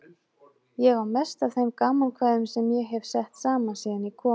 Ég á mest af þeim gamankvæðum sem ég hef sett saman síðan ég kom í